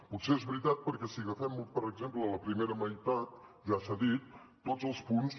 potser és veritat perquè si agafem per exemple la primera meitat ja s’ha dit tots els punts